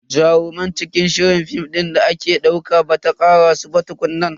Jarumai cikin shirin film din da ake dauka bata karaso ba tukunna.